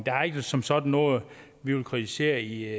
er ikke som sådan noget vi vil kritisere i